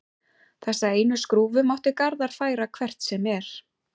Þessa einu skrúfu mátti Garðar færa hvert sem er.